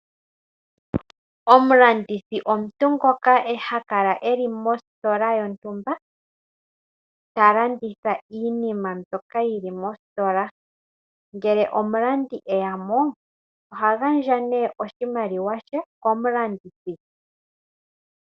Omulandithi omuntu ngoka ha kala eli mositola yontumba ta landitha iinima mbyoka yili mositola . Ngele omulandi eyamo oha gandja nee oshimaliwa she komulandithi.